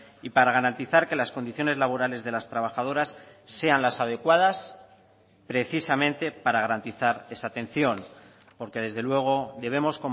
y para garantizar que las condiciones laborales de las trabajadoras sean las adecuadas precisamente para garantizar esa atención porque desde luego debemos